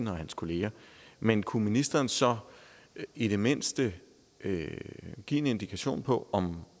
og hans kolleger men kunne ministeren så i det mindste give en indikation på om